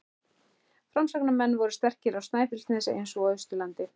Framsóknarmenn voru sterkir á Snæfellsnesi eins og á Austurlandi.